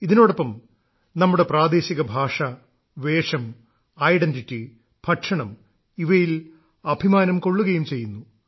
ഇതിനോടൊപ്പം നമ്മുടെ പ്രാദേശിക ഭാഷ വേഷം ഐഡന്റിറ്റി ഭക്ഷണം ഇവയിൽ അഭിമാനം കൊള്ളുകയും ചെയ്യുന്നു